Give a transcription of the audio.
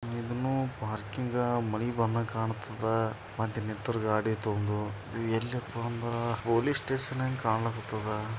ಇದನ್ನು ಪಾರ್ಕಿಂಗ್ ಮಳೆ ಬಂದಂಗೆ ಕಾಣ್ತದ ಮತ್ತೆ ನಿಂತಿರೋ ಗಾಡಿ ಐತೆ ಒಂದು ಇದು ಎಲ್ಲಿರುವದು ಅಂದ್ರೆ ಸ್ಟೇಷನ್ ಹ್ಯಾಂಗ ಕಣ್ಣತುದ.